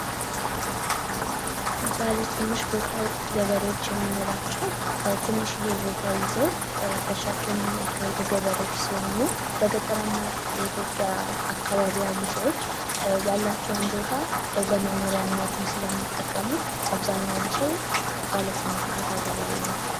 ባለ ትንሽ ቦታ ገበሬዎች የሚመራቸው ትንሽዬ ቦታ ይዘው እርሻ ገበሬዎች የኢትዮጵያ አካባቢ ያሉ ሰዎች ያላቸውን ቦታ እለመኖርያነትም ስለሚጠቀሙት አብዛኛውን ሰው ትንሽ ቦታ ገበሬ